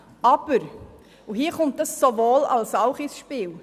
Doch nun kommt das «Sowohl-als-auch» ins Spiel: